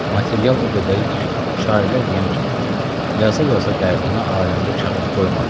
Material o qədər idi ki, şairlər deyən kimi, yaza-yaza dərdimi aləmdə kağız qoymadım.